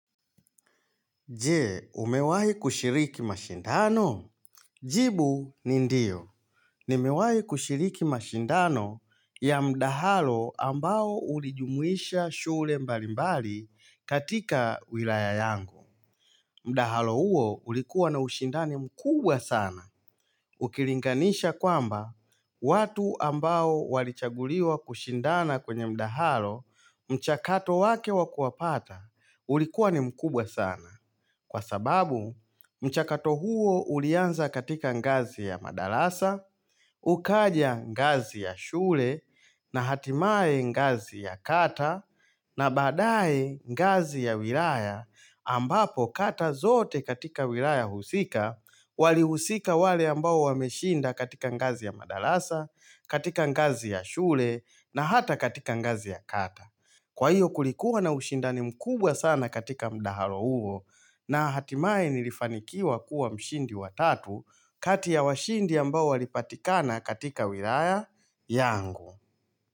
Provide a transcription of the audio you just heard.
Je, umewahi kushiriki mashindano? Jibu ni ndio. Nimewahi kushiriki mashindano ya mdahalo ambao ulijumuisha shule mbalimbali katika wilaya yangu. Mdahalo huo ulikuwa na ushindani mkubwa sana. Ukilinganisha kwamba, watu ambao walichaguliwa kushindana kwenye mdahalo mchakato wake wa kuwapata ulikuwa ni mkubwa sana. Kwa sababu mchakato huo ulianza katika ngazi ya madarasa, ukaja ngazi ya shule na hatimaye ngazi ya kata na baadae ngazi ya wilaya ambapo kata zote katika wilaya husika walihusika wale ambao wameshinda katika ngazi ya madarasa, katika ngazi ya shule na hata katika ngazi ya kata. Kwa hiyo kulikuwa na ushindani mkubwa sana katika mdahalo huo na hatimaye nilifanikiwa kuwa mshindi wa tatu kati ya washindi ambao walipatikana katika wilaya yangu.